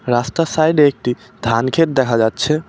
রাস্তার সাইডে একটি ধানক্ষেত দেখা যাচ্ছে।